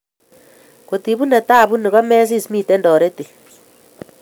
Kot ibune tabu ini komesis miten toretet